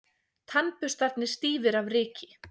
Tannburstarnir stífir af ryki.